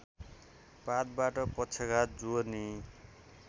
पातबाट पक्षघात जोर्नी